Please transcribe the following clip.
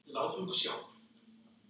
Örn stóð upp.